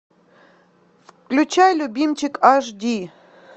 включай любимчик аш ди